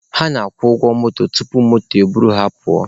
Ha na-agwụ ụgwọ moto tupu moto e buru ha pụọ.